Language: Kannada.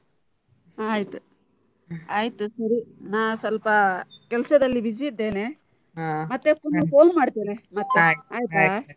ಆಯ್ತ್ ಆಯ್ತ್ ಸರಿ. ನಾ ಸ್ವಲ್ಪ ಕೆಲ್ಸದಲ್ಲಿ busy ಇದ್ದೇನೆ. ಮತ್ತೆ ಪುನ phone ಮಾಡ್ತೇನೆ. ಮತ್ತೆ ಆಯ್ತಾ?